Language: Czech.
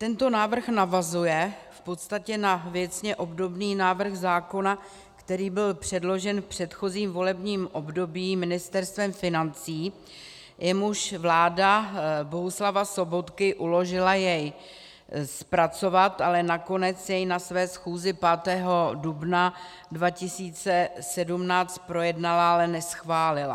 Tento návrh navazuje v podstatě na věcně obdobný návrh zákona, který byl předložen v předchozím volebním období Ministerstvem financí, jemuž vláda Bohuslava Sobotky uložila jej zpracovat, ale nakonec jej na své schůzi 5. dubna 2017 projednala, ale neschválila.